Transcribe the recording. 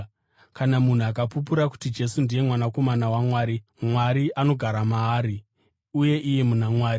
Kana munhu akapupura kuti Jesu ndiye Mwanakomana waMwari, Mwari anogara maari uye iye muna Mwari.